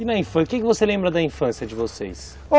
E na infância, o que você lembra da infância de vocês?